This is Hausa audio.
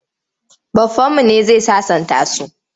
Baffanmu ne zai sasanta su.